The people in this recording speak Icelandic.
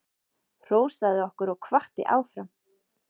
Hrósaði okkur og hvatti áfram.